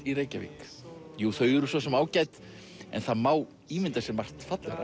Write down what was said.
í Reykjavík jú þau eru svo sem ágæt en það má ímynda sér margt fallegra